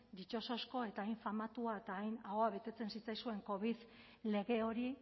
ditxosozko eta hain famatua eta hain ahoa betetzen zitzaizuen covid lege hori